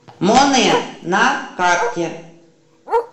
монэ на карте